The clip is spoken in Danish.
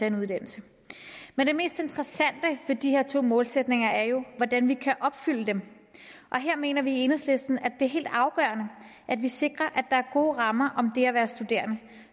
en uddannelse men det mest interessante ved de her to målsætninger er jo hvordan vi kan opfylde dem og her mener vi i enhedslisten at det er helt afgørende at vi sikrer at der er gode rammer om det at være studerende